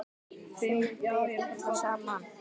Þeim ber illa saman.